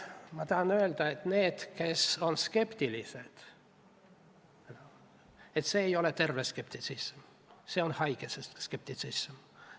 Ma tahan öelda, et need, kes on skeptilised – see ei ole terve skeptitsism, see on haige skeptitsism.